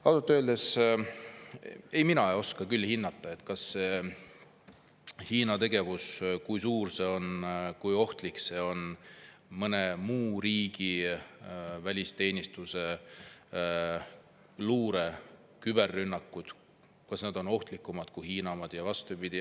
Ausalt öeldes mina ei oska küll hinnata, kui suur see Hiina tegevus on, kui ohtlik see on või kas mõne muu riigi välisteenistuse või luure küberrünnakud on ohtlikumad kui Hiina omad ja vastupidi.